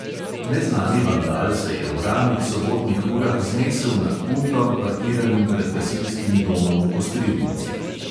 Neznani vandal se je v ranih sobotnih urah znesel nad puntom, parkiranim pred gasilskim domom v kostrivnici.